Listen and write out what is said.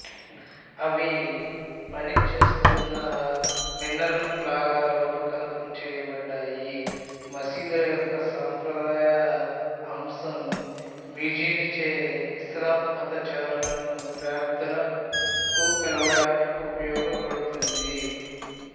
అవి పనిచేస్తున్న మినార్లలాగా రూపకల్పన చేయబడ్డాయి మసీదుల యొక్క సంప్రదాయ అంశంమ్యుజిన్చే ఇస్లాం మతాచారులను ప్రార్థనకు పిలువడానికి ఉపయోగపడుతుంది